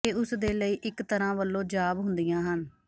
ਇਹ ਉਸਦੇ ਲਈ ਇੱਕ ਤਰ੍ਹਾਂ ਵਲੋਂ ਜਾਬ ਹੁੰਦੀਆਂ ਹਨ